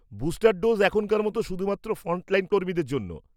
Booster dose এখনকার মতো শুধুমাত্র ফ্রন্টলাইন কর্মীদের জন্য।